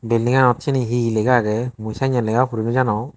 buildinganot siani he he lega agey mui senne lega puri no janong.